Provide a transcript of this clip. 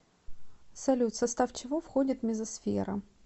салют в состав чего входит мезосфера